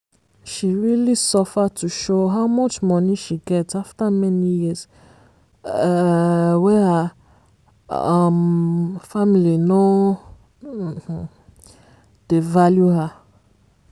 she realy suffer to show how much money she get after many years um wey her um family no um dey value her.